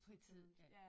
Fritid ja